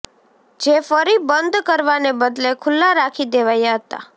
જે ફરી બંધ કરવાને બદલે ખુલ્લા રાખી દેવાયા હતા